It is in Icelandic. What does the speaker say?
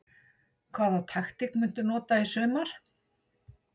Hvaða taktík muntu nota í sumar?